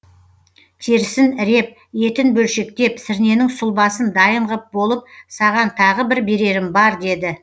терісін іреп етін бөлшектеп сірненің сұлбасын дайын ғып болып саған тағы бір берерім бар деді